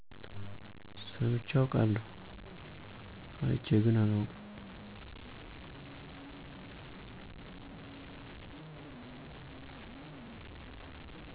ሰምቼ አቃለሁ አየቼ ግን አላውቅም።